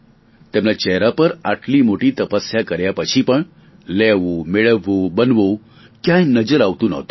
તેમના ચહેરા પર આટલી મોટી તપસ્યા કર્યા પછી પણ લેવુંમેળવવુંબનવું ક્યાંય નજર આવતું ન હતું